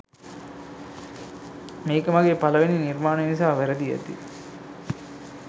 මේක මගේ පළවෙනි නිර්මාණය නිසා වැරදි ඇති.